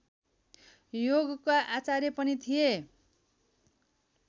योगका आचार्य पनि थिए